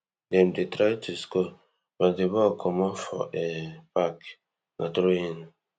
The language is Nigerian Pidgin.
dem dey try to score but di ball comot for um park na throw in